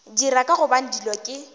dira ka gobane dilo ke